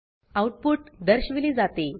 output दर्शविले जाते